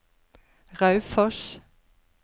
Raufoss